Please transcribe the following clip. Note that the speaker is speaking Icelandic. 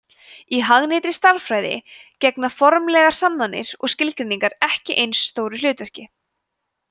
í hagnýttri stærðfræði gegna formlegar sannanir og skilgreiningar ekki eins stóru hlutverki